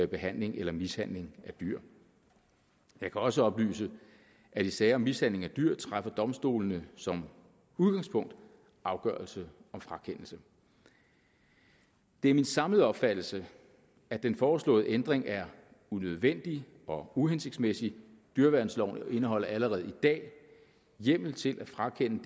behandling eller mishandling af dyr jeg kan også oplyse at i sager om mishandling af dyr træffer domstolene som udgangspunkt afgørelse om frakendelse det er min samlede opfattelse at den foreslåede ændring er unødvendig og uhensigtsmæssig dyreværnsloven indeholder allerede i dag hjemmel til at frakende den